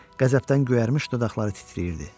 Qəzəbdən göyərmiş dodaqları titrəyirdi.